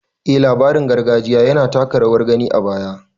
Eh labarin gargajiya yana taka rawar gani a baya